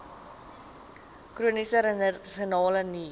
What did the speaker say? chroniese renale nier